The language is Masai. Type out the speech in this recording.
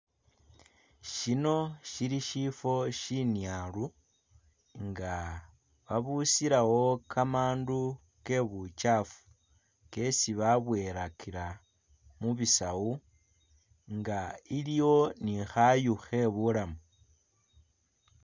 Syino syili syifwo syinyaalu, nga babusilawo kamandu ke bukyaafu kesi babwoyelakila mu bisawu nga iliwo ni khayu khe bulamu.